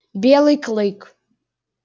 белый клык